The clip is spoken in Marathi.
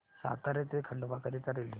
सातारा ते खंडवा करीता रेल्वे